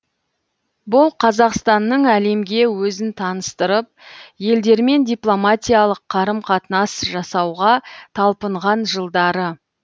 бұл қазақстанның әлемге өзін таныстырып елдермен дипломатиялық қарым қатынас жасауға талпынған жылдары